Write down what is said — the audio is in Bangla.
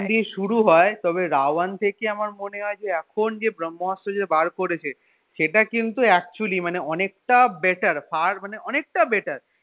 দিয়ে শুরু হয় তবে রা one থেকে আমার মনে হয় যে এখন যে ব্রম্ভাস্ত্র যে বার করেছে সেটা কিন্তু actually মানে অনেকটা better far মানে অনেকটা better